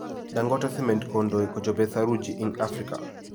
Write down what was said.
Dangote cement kondoi kochobe saruji Ing Afrika.